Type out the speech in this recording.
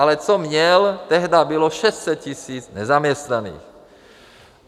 Ale co měl tehdy, bylo 600 000 nezaměstnaných.